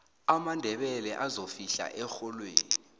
amandebele azofihla erholweni